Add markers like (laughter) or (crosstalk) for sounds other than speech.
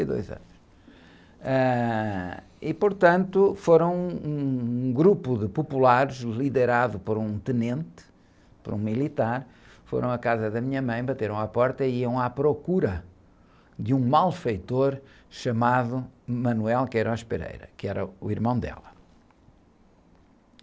e dois anos, ãh... E, portanto, foram um, um grupo de populares, liderado por um tenente, por um militar, foram à casa da minha mãe, bateram à porta e iam à procura de um malfeitor chamado, (unintelligible) que era o irmão dela.